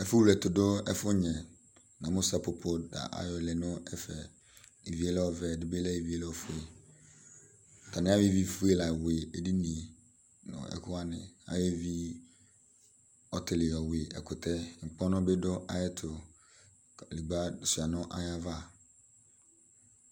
Ɛfuwleɛtʋdʋ, ɛfʋnyɛ Amʋ sapopo tʋ ayɔlɛ nʋ ɛfɛ Ivi yɛ lɛ ɔvɛ Ivi ɛdɩ bɩ lɛ ofue Atanɩ ayɔ ivifue la wɩ edini yɛ nʋ ekʋ wanɩ Ayɔ ɔtɩlɩ yɔwɩ ɛkʋtɛ yɛ Ŋkpɔnʋ bɩ dʋ ayʋ ɛtʋ Kadegbǝ shʋa nʋ ayʋ ava